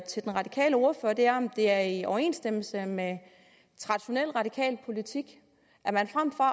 til den radikale ordfører er om det er i overensstemmelse med traditionel radikal politik at man frem for